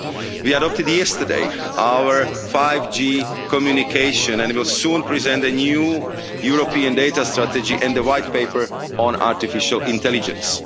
We adopted yesterday our 5G communication, and will soon present a new European data strategy and a White Paper on artificial intelligence.